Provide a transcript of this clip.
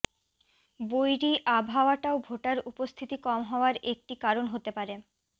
বৈরী আবহাওয়াটাও ভোটার উপস্থিতি কম হওয়ার একটি কারণ হতে পারে